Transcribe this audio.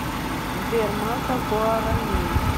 сбер масса гуаранин